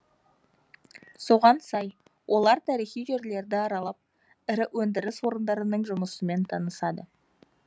соған сай олар тарихи жерлерді аралап ірі өндіріс орындарының жұмысымен танысады